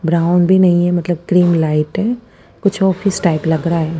Brown भी नहीं है मतलब क्रीम लाइट है कुछ ऑफिस टाइप लग्ग रहा है।